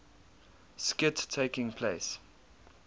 skit taking place